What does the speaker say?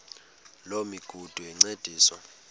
loo migudu encediswa